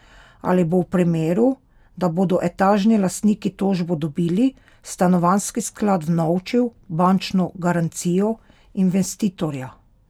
Ali bo v primeru, da bodo etažni lastniki tožbo dobili, stanovanjski sklad vnovčil bančno garancijo investitorja?